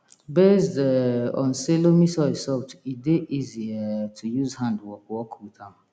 based um on say loamy soil soft e dey easy um to use hand work work with am